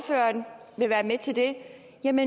en